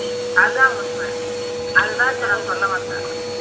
அதான் உன்மை அதான் அதை தான் இப்ப நான் சொல்ல வந்தேன்